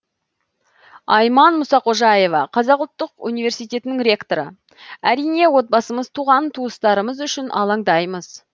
айман мұсақожаева қазақ ұлттық өнер университетінің ректоры әрине отбасымыз туған туыстарымыз үшін алаңдаймыз